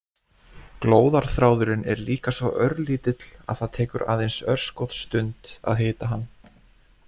Glóðarþráðurinn er líka svo örlítill að það tekur aðeins örskotsstund að hita hann.